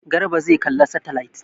Garba zai kalla saitilait.